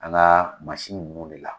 An ga ninnu ne la